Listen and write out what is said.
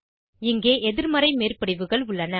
இங்கே எதிர்மறை மேற்படிவுகள் உள்ளன